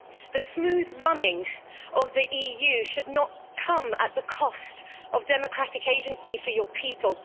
The smooth running of the EU should not come at the cost of democratic agency for your people.